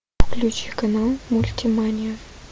включи канал мультимания